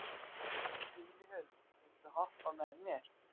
Júlíhuld, viltu hoppa með mér?